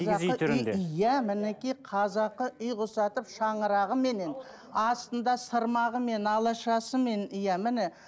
киіз үй түрінде иә мінекей қазақы үйге ұқсатып шаңырағыменен астында сырмағымен алашасымен иә міне